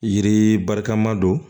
Yiri barika ma don